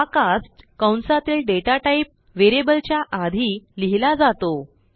हा कास्ट कंसातील डेटाटाईप व्हेरिएबलच्या आधी लिहिला जातो